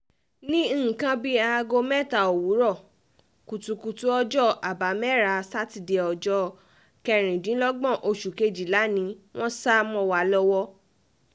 ní nǹkan bíi aago mẹ́ta òwúrọ̀ kùtùkùtù ọjọ́ àbámẹ́rà sátidé ọjọ́ um kẹrìndínlọ́gbọ̀n oṣù kejìlá ni wọ́n sá um mọ́ wa lọ́wọ́